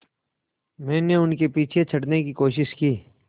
मैंने उनके पीछे चढ़ने की कोशिश की